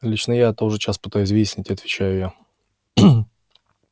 лично я это уже час пытаюсь выяснить отвечаю я